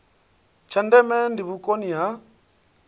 tsha ndeme ndi vhukoni ha